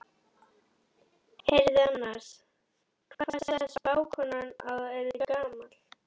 Heyrðu annars, hvað sagði spákonan að þú yrðir gamall?